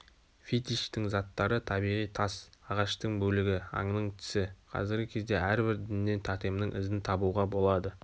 фетиштің заттары табиғи тас ағаштың бөлігі аңның тісі қазіргі кезде әрбір діннен тотемнің ізін табуға болады